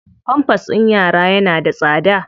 Pampers ɗin yara yana da tsada.